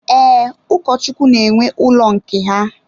Ee, Ụkọchukwu na-enwe ụlọ nke ha.